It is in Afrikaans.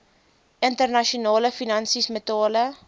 internasionale finansies metale